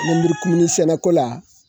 Lenmurukumuni sɛnɛko la